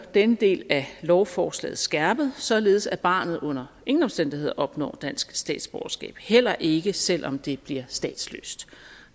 denne del af lovforslaget skærpet således at barnet under ingen omstændigheder opnår dansk statsborgerskab heller ikke selv om det bliver statsløst